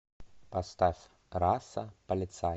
поставь раса полицай